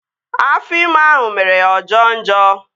Afọ ime ahụ mere ya ọ jọo njọ